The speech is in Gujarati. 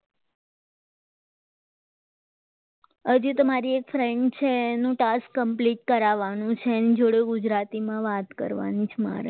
હજી તો મારી એક friend છે એનું task complete કરાવવાનું છે એની જોડે ગુજરાતીમાં વાત કરવાની છે મારે